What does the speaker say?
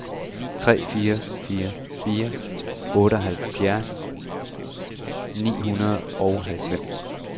tre fire fire fire otteoghalvfjerds ni hundrede og halvfems